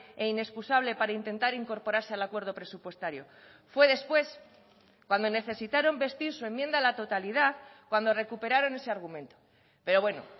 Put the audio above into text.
e inexcusable para intentar incorporarse al acuerdo presupuestario fue después cuando necesitaron vestir su enmienda a la totalidad cuando recuperaron ese argumento pero bueno